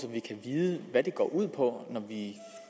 vi kan vide hvad det går ud på når vi